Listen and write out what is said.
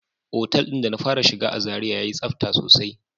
Otel din da na fara shiga a zarai ya yi tsafta sosai.